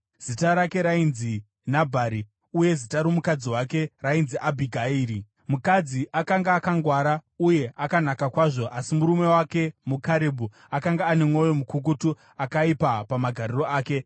Zita rake rainzi Nabhari uye zita romukadzi wake rainzi Abhigairi. Mukadzi akanga akangwara uye akanaka kwazvo, asi murume wake muKarebhu, akanga ane mwoyo mukukutu akaipa pamagariro ake.